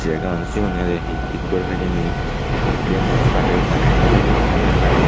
ekaoney sigunere he tikgorey hijeni bujje mask lageye tarey hintu nosinongor helmet lageye.